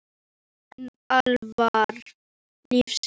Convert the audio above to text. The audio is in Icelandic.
En alvara lífsins lét heldur ekki að sér hæða.